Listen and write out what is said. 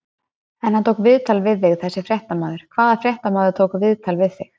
En hann tók viðtal við þig þessi fréttamaður, hvaða fréttamaður tók viðtal við þig?